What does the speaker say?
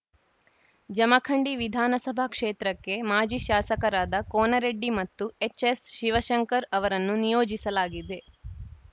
ಜಮಖಂಡಿ ವಿಧಾನಸಭಾ ಕ್ಷೇತ್ರಕ್ಕೆ ಮಾಜಿ ಶಾಸಕರಾದ ಕೋನರೆಡ್ಡಿ ಮತ್ತು ಎಚ್‌ಎಸ್‌ಶಿವಶಂಕರ್‌ ಅವರನ್ನು ನಿಯೋಜಿಸಲಾಗಿದೆ